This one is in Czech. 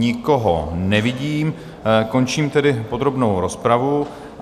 Nikoho nevidím, končím tedy podrobnou rozpravu.